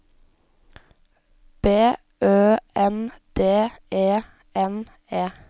B Ø N D E N E